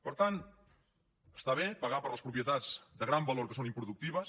per tant està bé pagar per les propietats de gran valor que són improductives